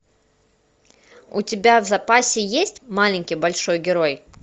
у тебя в запасе есть маленький большой герой